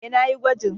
E, na yi gwajin.